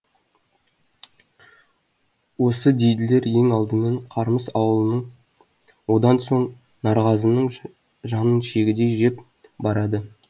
осы дейділер ең алдымен қармыс ауылының одан соң нарғазының жанын жегідей жеп барады